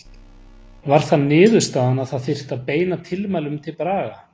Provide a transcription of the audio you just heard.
Var það niðurstaðan að það þyrfti að beina tilmælum til Braga?